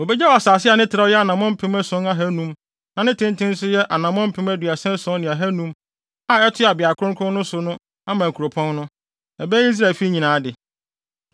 “ ‘Wobegyaw asase a ne trɛw yɛ anammɔn mpem ason ne ahannum (7,500) na ne tenten nso yɛ anammɔn mpem aduasa ason ne ahannum (37,500) a ɛtoa beae kronkron no so no ama kuropɔn no; ɛbɛyɛ Israelfi nyinaa de.